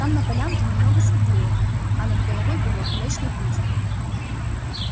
там на полянке немного светлее а над головой белеет млечный путь